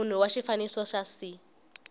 munhu wa xifaniso xa c